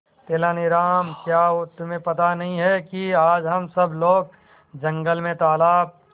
तेनालीराम क्या तुम्हें पता नहीं है कि आज हम सब लोग जंगल में तालाब